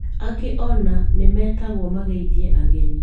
Angĩ ona nĩmetagwo mageithie ageni